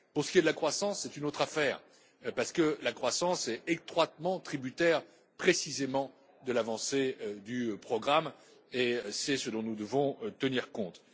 Pour ce qui est de la croissance, c'est une autre affaire, parce que la croissance est étroitement tributaire précisément de l'avancée du programme et c'est ce dont nous devons tenir compte.